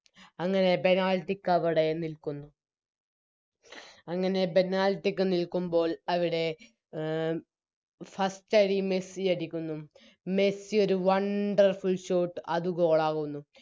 അങ്ങനെ Penalty ക്കവിടെ നിൽക്കുന്നു അങ്ങനെ Penalty ക്ക് നിൽക്കുമ്പോൾ അവിടെ ആ അഹ് First അടി മെസ്സി അടിക്കുന്നു മെസിയൊരു Wonderful short അത് Goal ആകുന്നു